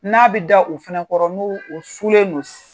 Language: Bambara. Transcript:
N'a bɛ da u fɛnɛkɔrɔ n' u o sulen don